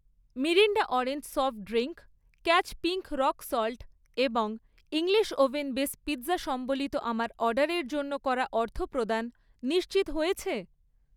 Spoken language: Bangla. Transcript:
Mirinda orange soft drink, catch pink rock salt এবং ইংলিশ ওভেন বেস পিৎজা সম্বলিত আমার অর্ডারের জন্য করা অর্থপ্রদান নিশ্চিত হয়েছে?